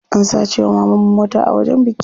An sace wa mamanmu mota a wajen biki.